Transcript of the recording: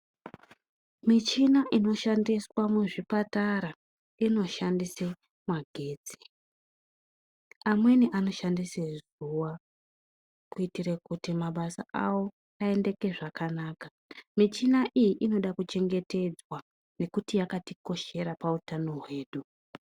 Michina inoshandiswa muzvipatara inoshandise magetsi. Amweni anoshandise zuwa, kuitire kuti mabasa awo aendeke zvakanaka. Michina iyi inoda kuchengetedzwa, nekuti yakatikoshera pautano hwedu .